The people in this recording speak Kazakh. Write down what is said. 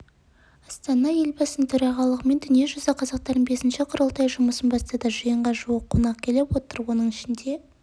астанада елбасының төрағалығымен дүниежүзі қазақтарының бесінші құрылтайы жұмысын бастады жиынға жуық қонақ келіп отыр оның ішінде